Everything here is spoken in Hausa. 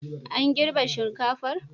An girbe shinkafar?